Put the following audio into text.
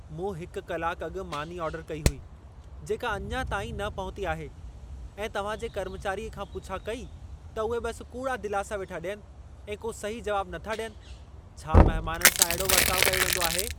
मूं हिक कलाकु अॻु मानी आर्डरु कई हुई, जेका अञा ताईं न पहुती आहे ऐं तव्हां जे कर्मचारीअ खां पुछा कई त उहे बस कूड़ा दिलासा वेठा ॾियनि ऐं को सही जवाब नथा ॾियनि। छा महमाननि सां अहिड़ो वर्ताउ कयो वेंदो आहे?